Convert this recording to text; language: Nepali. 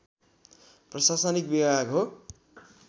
प्रशासनिक विभाग हो